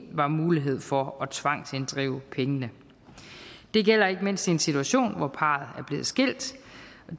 var mulighed for at tvangsinddrive pengene det gælder ikke mindst i en situation hvor parret er blevet skilt